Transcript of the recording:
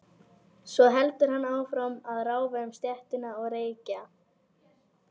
Svo heldur hann áfram að ráfa um stéttina og reykja.